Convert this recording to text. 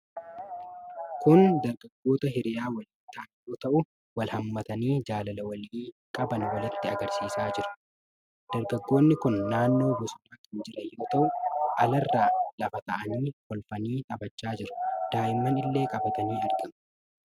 Kun dargaggoota hiriyaa walii ta'an yoo ta'u, wal hammatanii jaalala walii qaban walitti agarsiisaa jiru. Dargaggoonni kun naannoo bosonaa kan jiran yoo ta'u, alarra lafa taa'anii kolfanii taphachaa jiru. Daa'imman illee qabatanii argamu.